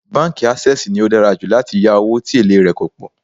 Báńkì Ásẹ́sìì ni ó dára jù láti yá owó tí èlé rè kò pọ̀.